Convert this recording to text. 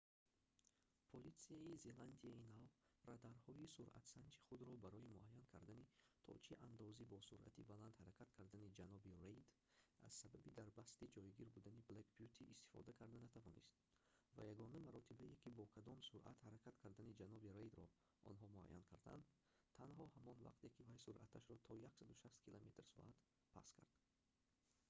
политсияи зеландияи нав радарҳои суръатсанҷи худро барои муайян кардани то чи андози бо суръати баланд ҳаракат кардани ҷаноби рейд аз сабаби дар пастӣ ҷойгир будани блэк бюти истифода карда натавонист ва ягона маротибае ки бо кадом суръат ҳаракат кардани ҷаноби рейдро онҳо муайян карданд танҳо ҳамон вақте ки вай суръаташро то 160 км / с паст кард